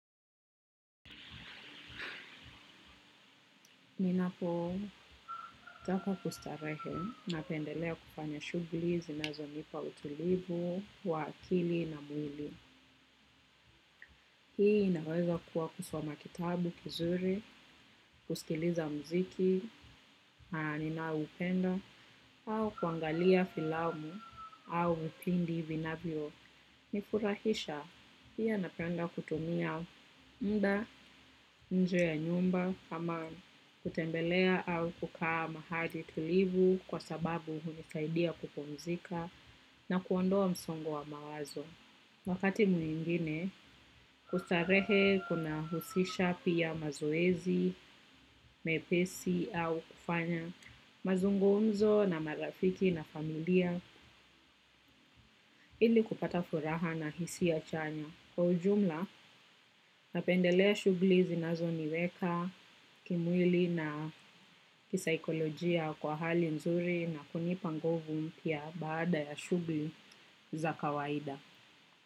Ninapotaka kustarehe, napendelea kufanya shugli, zinazo nipa utulivu wa akili na mwili. Hii inaweza kuwa kusoma kitabu, kizuri, kuskiliza mziki, ninaoupenda, au kuangalia filamu, au vipindi vinavyo. Nifurahisha pia napenda kutumia mda, nje ya nyumba, kama kutembelea au kukaa mahali tulivu kwa sababu hunisaidia kupumzika na kuondoa msongo wa mawazo. Wakati mwingine, kustarehe kunahusisha pia mazoezi, mepesi au kufanya mazungumzo na marafiki na familia ili kupata furaha na hisia chanya. Kwa ujumla, napendelea shugli zinazo niweka, kimwili na kisaikolojia kwa hali nzuri na kunipa nguvu mpya baada ya shugli za kawaida.